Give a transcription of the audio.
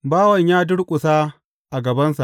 Bawan ya durƙusa a gabansa.